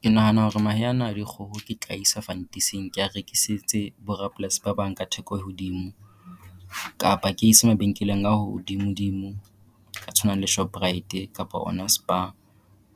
Ke nahana hore mahe ana a dikgoho ke tla a isa fantising kea rekisetse borapolasi ba bang ka theko e hodimo. Kapa ke ise mabenkeleng a hodimodimo a tshwanang le Shoprite kapa ona Spar.